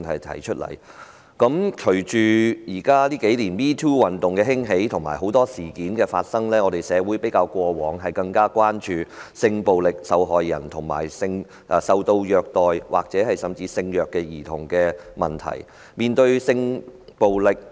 隨着近年 "#MeToo" 運動興起及很多事件發生，社會較以往更關注性暴力受害人及受虐兒童，甚至是性虐兒童的問題。